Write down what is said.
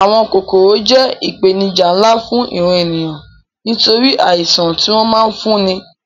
Àwọn kòkòrò jẹ́ ìpèníjà nlá fún ìran ènìyàn nítorí àìṣàn tí wọ́n ma ń fúnni